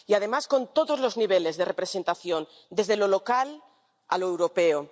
Y, además, con todos los niveles de representación desde lo local a lo europeo.